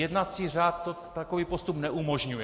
Jednací řád takový postup neumožňuje.